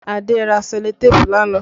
Adé ra sẹlotéépù lánàá